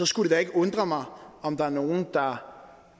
skulle undre mig om der er nogle der